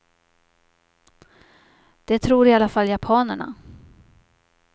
Det tror i alla fall japanerna.